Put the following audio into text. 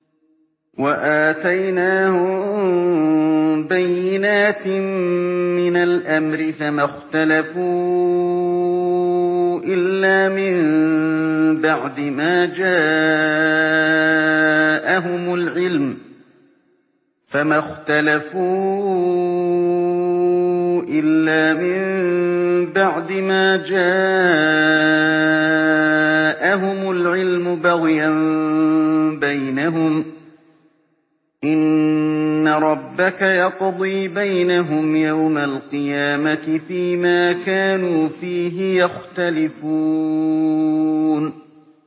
وَآتَيْنَاهُم بَيِّنَاتٍ مِّنَ الْأَمْرِ ۖ فَمَا اخْتَلَفُوا إِلَّا مِن بَعْدِ مَا جَاءَهُمُ الْعِلْمُ بَغْيًا بَيْنَهُمْ ۚ إِنَّ رَبَّكَ يَقْضِي بَيْنَهُمْ يَوْمَ الْقِيَامَةِ فِيمَا كَانُوا فِيهِ يَخْتَلِفُونَ